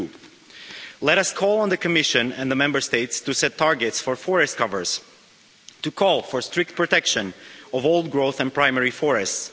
2. Let us call on the Commission and the Member States to set targets for forest covers, to call for strict protection of old-growth and primary forests.